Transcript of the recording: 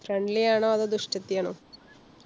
friendly ആണോ അതോ ദുഷ്ടത്തി ആണോ?